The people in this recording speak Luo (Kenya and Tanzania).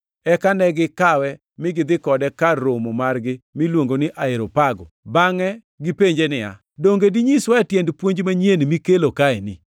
Eka ne gikawe mi gidhi kode kar romo margi miluongo ni Areopago, bangʼe gipenje niya, “Donge dinyiswae tiend puonj manyien mikelo kaeni?